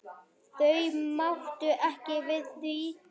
Þau máttu ekki við því.